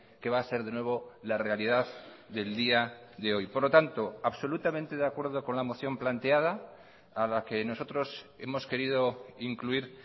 que va a ser de nuevo la realidad del día de hoy por lo tanto absolutamente de acuerdo con la moción planteada a la que nosotros hemos querido incluir